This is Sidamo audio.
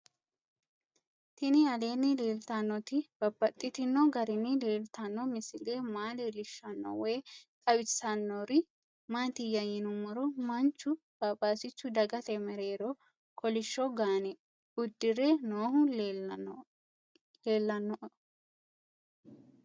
Tinni aleenni leelittannotti babaxxittinno garinni leelittanno misile maa leelishshanno woy xawisannori maattiya yinummoro manchu phaphasichu dagatte mereerro kolishsho gaanne udirre noohu leelanno